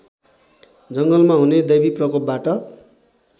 जङ्गलमा हुने दैवीप्रकोपबाट